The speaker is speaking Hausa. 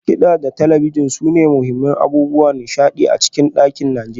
Masu kida da talabijin sune muhimman abubuwan nishadi a cikin dakunan Najeriya.